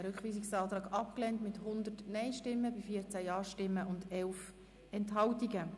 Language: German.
Sie haben den Rückweisungsantrag mit 14 Ja- gegen 100 Nein-Stimmen bei 11 Enthaltungen abgelehnt.